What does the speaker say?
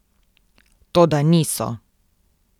Toda niso.